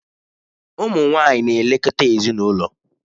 Ụmụ nwanyị na-elekọta ezinụlọ